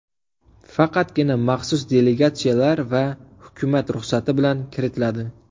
Faqatgina maxsus delegatsiyalar va hukumat ruxsati bilan kiritiladi.